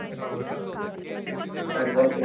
ಸರಿ ok